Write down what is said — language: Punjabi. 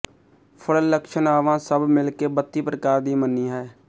ਫਲ ਲਕਸ਼ਣਾਵਾਂ ਸਭ ਮਿਲ ਕੇ ਬੱਤੀ ਪ੍ਰਕਾਰ ਦੀ ਮੰਨੀ ਹੈ